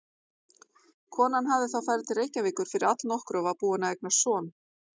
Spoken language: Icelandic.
Konan hafði þá farið til Reykjavíkur fyrir allnokkru og var búin að eignast son.